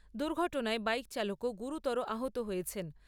দূর্ঘটনায় bike চালকও গুরুতর আহত হয়েছেন।